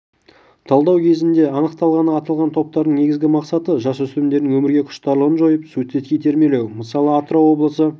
талдау кезінде анықталғаны аталған топтардың негізгі мақсаты жасөспірімдердің өмірге құштарлығын жойып суицидке итермелеу мысалы атырау облысы